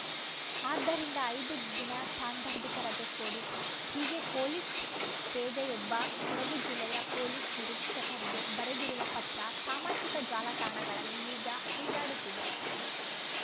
ಆದ್ದರಿಂದ ಐದು ದಿನ ಸಾಂದರ್ಭಿಕ ರಜೆ ಕೊಡಿ ಹೀಗೆ ಪೊಲೀಸ್‌ ಪೇದೆಯೊಬ್ಬ ಕೊಡಗು ಜಿಲ್ಲೆಯ ಪೊಲೀಸ್‌ ನಿರೀಕ್ಷಕರಿಗೆ ಬರೆದಿರುವ ಪತ್ರ ಸಾಮಾಜಿಕ ಜಾಲತಾಣಗಳಲ್ಲಿ ಈಗ ಹರಿದಾಡುತ್ತಿದೆ